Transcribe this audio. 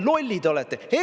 Lollid olete!